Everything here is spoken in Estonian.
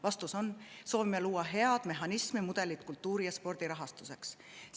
Vastus on, et me soovime luua head mehhanismi, mudelit kultuuri ja spordi rahastuseks.